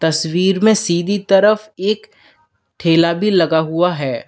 तस्वीर में सीधी तरफ एक ठेला भी लगा हुआ है।